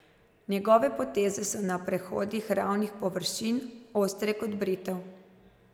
Njegove poteze so na prehodih ravnih površin ostre kot britev.